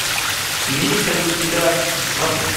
имеется ли у тебя сваты